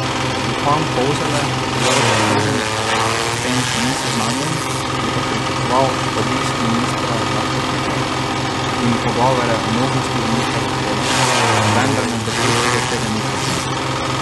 Župan Polzele Jože Kužnik s tem še ni seznanjen, je pa pričakoval obisk ministra Gašperšiča in pogovore o možnosti umika zahteve, vendar med dopusti do tega ni prišlo.